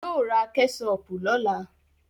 Yóò ra Kẹ́ṣọpù lọ́la